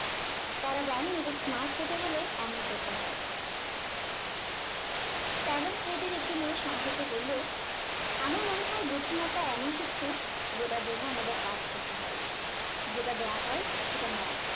তারা জানে যে smart হতে হলে এমন করতে হয় standard seven এর একটি মেয়ে সংক্ষেপে বললো আমার মনে হয় বুদ্ধিমত্তা এমন কিছু জেতার জন্য আমাদের কাজ করতে হয় যেটা দেওয়া হয় সেটা নয়